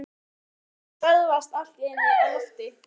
Þar til handleggur hennar stöðvast allt í einu á lofti.